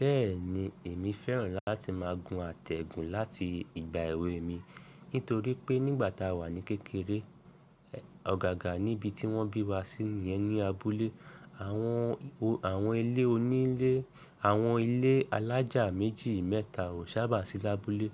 Bẹ́ẹ̀ni, èmi fẹ́ràn láti máa gun àtẹ̀gùn láti ìgbà èwe mi nítorí pé nígbà ta wà ní kékeré, ọ̀gágà níbi tí wọ́n bí wa sí yẹn ní abúlé, àwọn eléonílé, àwọn ilé alájà méjì mẹ́ta ò sábà sí lábúlé.